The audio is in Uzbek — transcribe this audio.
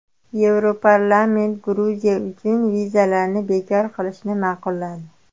Yevroparlament Gruziya uchun vizalarni bekor qilishni ma’qulladi.